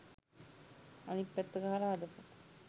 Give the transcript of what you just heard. අනිත් පැත්ත ගහල හදපු